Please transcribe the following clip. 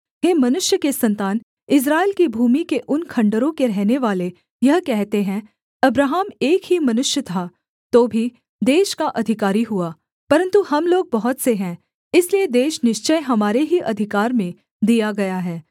हे मनुष्य के सन्तान इस्राएल की भूमि के उन खण्डहरों के रहनेवाले यह कहते हैं अब्राहम एक ही मनुष्य था तो भी देश का अधिकारी हुआ परन्तु हम लोग बहुत से हैं इसलिए देश निश्चय हमारे ही अधिकार में दिया गया है